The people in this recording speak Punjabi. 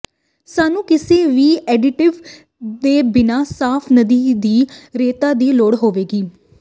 ਸਾਨੂੰ ਕਿਸੇ ਵੀ ਐਡਿਟਿਵ ਦੇ ਬਿਨਾਂ ਸਾਫ ਨਦੀ ਦੀ ਰੇਤਾ ਦੀ ਲੋੜ ਹੋਵੇਗੀ